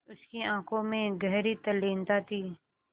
उसकी आँखों में गहरी तल्लीनता थी